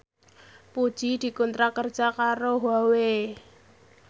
Puji dikontrak kerja karo Huawei